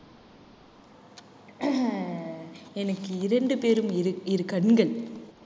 எனக்கு இரண்டு பேரும் இரு கண்கள்